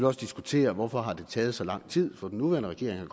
også diskutere hvorfor det har taget så lang tid for den nuværende regering